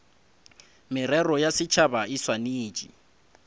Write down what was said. merero ya setšhaba e swanetše